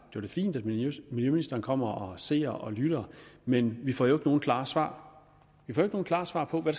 er da fint at miljøministeren kommer og ser og lytter men vi får jo nogen klare svar vi får ikke nogen klare svar på hvad